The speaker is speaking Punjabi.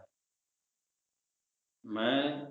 ਮੈਂ